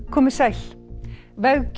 komið sæl veggjöld